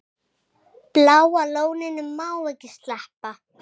Bláa lóninu má ekki sleppa.